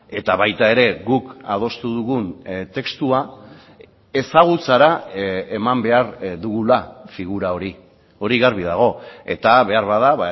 eta baita ere guk adostu dugun testua ezagutzara eman behar dugula figura hori hori garbi dago eta beharbada